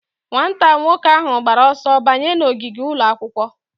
Nwata nwoke ahụ gbara ọsọ banye n'ogige ụlọ akwụkwọ.